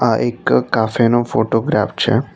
આ એક કાફે નો ફોટોગ્રાફ છે.